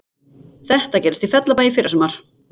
Þetta gerðist í Fellabæ í fyrrasumar